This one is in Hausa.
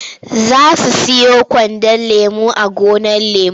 Za su siyo kwandon lemo a gonar lemo.